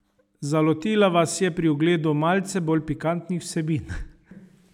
Zalotila vas je pri ogledu malce bolj pikantnih vsebin.